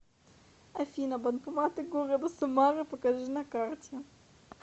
афина банкоматы города самары покажи на карте